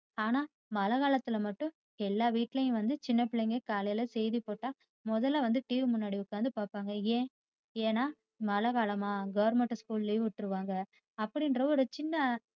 ஆனா மழை காலத்துல மட்டும் எல்லா வீட்டிலும் வந்து சின்ன பிள்ளைங்க காலையில் செய்தி போட்ட முதல வந்து TV முன்னாடி உக்காந்து பாப்பாங்க ஏன்? ஏன்னா மழை காலமா goverment school leave விட்டிருவாங்க அப்படிங்ற ஒரு சின்ன